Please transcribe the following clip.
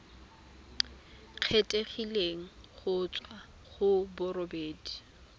kgethegileng go tswa go bodiredi